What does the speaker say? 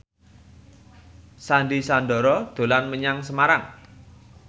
Sandy Sandoro dolan menyang Semarang